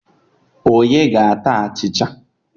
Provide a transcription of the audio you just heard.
Onye ga-ata achịcha